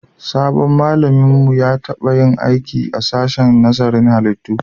Sabon malamin mu ya taba yin aiki a sashen nazarin halittu